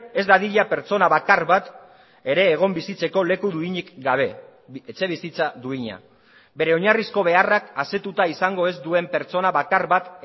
ez dadila pertsona bakar bat ere egon bizitzeko leku duinik gabe etxebizitza duina bere oinarrizko beharrak asetuta izango ez duen pertsona bakar bat